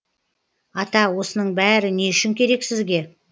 ата осының бәрі не үшін керек сізге